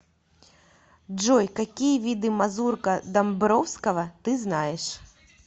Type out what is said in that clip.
джой какие виды мазурка домбровского ты знаешь